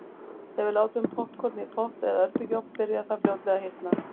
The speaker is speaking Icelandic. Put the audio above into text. Þegar við látum poppkorn í pott eða örbylgjuofn byrjar það fljótlega að hitna.